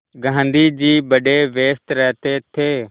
गाँधी जी बड़े व्यस्त रहते थे